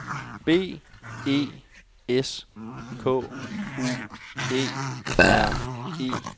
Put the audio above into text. B E S K U E R E